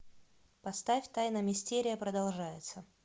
поставь тайна мистерия продолжается